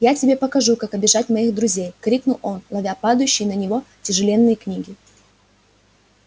я тебе покажу как обижать моих друзей крикнул он ловя падающие на него тяжеленные книги